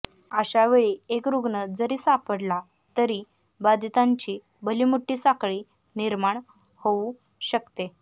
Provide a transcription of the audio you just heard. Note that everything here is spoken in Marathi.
अशावेळी एक रुग्ण जरी सापडला तरी बधितांची भलीमोठी साखळी निर्माण होऊ शकते